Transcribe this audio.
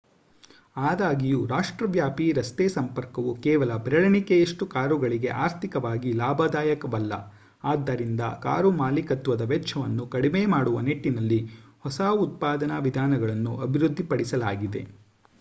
ಆದಾಗ್ಯೂ ರಾಷ್ಟ್ರವ್ಯಾಪಿ ರಸ್ತೆ ಸಂಪರ್ಕವು ಕೇವಲ ಬೆರಳೆಣಿಕೆಯಷ್ಟು ಕಾರುಗಳಿಗೆ ಆರ್ಥಿಕವಾಗಿ ಲಾಭದಾಯಕವಲ್ಲ ಆದ್ದರಿಂದ ಕಾರು ಮಾಲೀಕತ್ವದ ವೆಚ್ಚವನ್ನು ಕಡಿಮೆ ಮಾಡುವ ನಿಟ್ಟಿನಲ್ಲಿ ಹೊಸ ಉತ್ಪಾದನಾ ವಿಧಾನಗಳನ್ನು ಅಭಿವೃದ್ಧಿಪಡಿಸಲಾಗಿದೆ